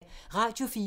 Radio 4